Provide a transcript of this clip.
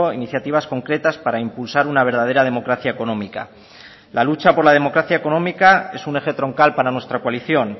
iniciativas concretas para impulsar una verdadera democracia económica la lucha por la democracia económica es un eje troncal para nuestra coalición